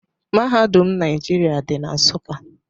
Mahadum Naijiria dị na Nsụka.